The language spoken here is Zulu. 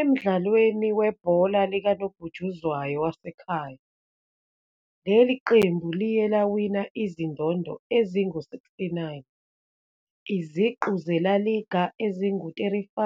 Emdlalweni webhola likanobhutshuzwayo wasekhaya, leli qembu liye lawina izindondo ezingu-69, iziqu ze-La Liga ezingu-35,